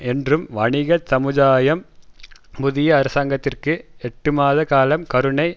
என்றும் வணிகச்சமுதாயம் புதிய அரசாங்கத்திற்கு எட்டுமாத காலம் கருணை